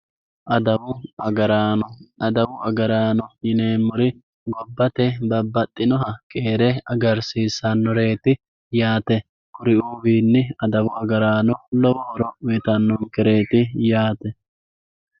Adawu agaraano adawu agaraano yinemori gobate babaxinoha keere agarsisanoreeti yaate kuriuuwini adawu agaraano lowo horo uyitanonkereti yaate.